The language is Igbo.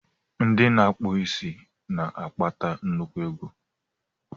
Ndị na-akpụ isi na-akpata nnukwu ego.